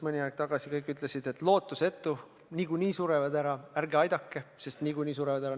Mõni aeg tagasi kõik ütlesid, et lootusetu – niikuinii surevad ära, ärge aidake, sest niikuinii surevad ära.